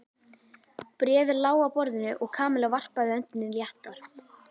Bréfið lá á borðinu og Kamilla varpaði öndinni léttar.